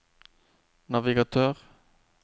navigatør